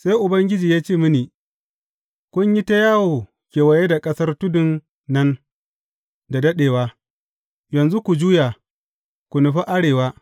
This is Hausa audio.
Sai Ubangiji ya ce mini, Kun yi ta yawo kewaye da ƙasar tudun nan da daɗewa; yanzu ku juya, ku nufi arewa.